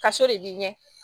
Ka so de b'i ɲɛ